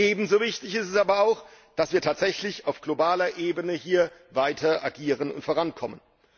Ebenso wichtig ist es aber, dass wir tatsächlich auf globaler Ebene hier weiter agieren und vorankommen.